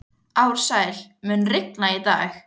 Ársæl, mun rigna í dag?